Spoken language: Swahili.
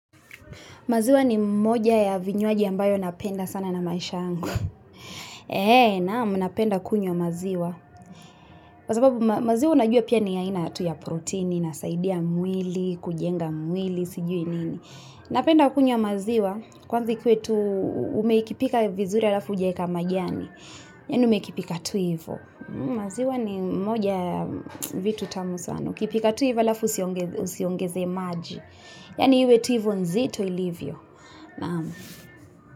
Maziwa ni moja ya vinywaji ambayo napenda sana na maisha yangu. Eee, naam, napenda kunywa maziwa. Kwa sababu, maziwa unajua pia ni aina tu ya protini, inasaidia mwili, kujenga mwili, sijui nini. Napenda kunywa maziwa, kwanza ikuwe tu umekipika vizuri alafu hujaeka majani. Yaani umekipika tu hivo. Maziwa ni moja ya vitu tamu sana. Ukipika tu hivo alafu usiongeze maji. Yaani iwe tu hivo nzito ilivyo. Naam.